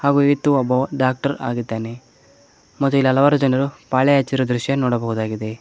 ಹಾಗೂ ಈತ ಒಬ್ಬವ ಡಾಕ್ಟರ್ ಆಗಿದ್ದಾನೆ ಮತ್ತೆ ಇಲ್ಲಿ ಹಲವಾರು ಜನರು ಪಾಳೆ ಹಚ್ಚಿರುವ ದೃಶ್ಯ ನೋಡಬಹುದಾಗಿದೆ.